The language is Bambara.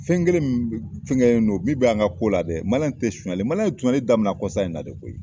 Fɛn kelen min fɛnkɛlen do min bɛ an ka ko la dɛ tɛ sonyali ye sonyali daminɛ kɔsa in na de koyi.